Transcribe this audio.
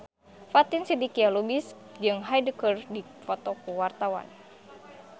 Fatin Shidqia Lubis jeung Hyde keur dipoto ku wartawan